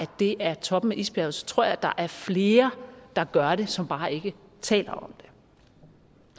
det er toppen af isbjerget så tror jeg der er flere der gør det som bare ikke taler